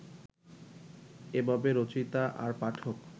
এভাবে রচয়িতা আর পাঠক